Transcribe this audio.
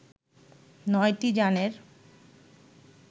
নয়টি যানের